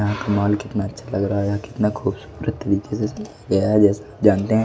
यहां कमाल कितना अच्छा लग रहा है यहां कितना खूबसूरत तरीके से गया है जैसा आप जानते हैं।